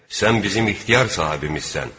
Sən bizim ixtiyar sahibimizsən.